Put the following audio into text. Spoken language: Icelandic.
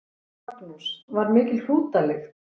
Magnús: Var mikil hrútalykt?